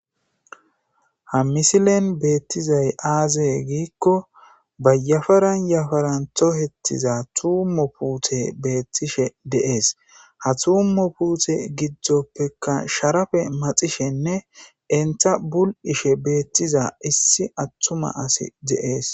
Ha misilen beettizay aazey giikko bayafaran yafaranto hettiza tuummo puute beettishe deees ha tuummo puute giddoppeka sharafe maxishenne entha bul'ishe beettiza issi attuma asi de'ees.